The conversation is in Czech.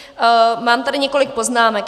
Mám tady několik poznámek.